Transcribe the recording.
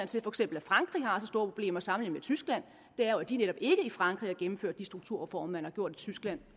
til at for eksempel frankrig har så store problemer sammenlignet med tyskland er jo at de netop ikke i frankrig har gennemført de strukturreformer man har gjort i tyskland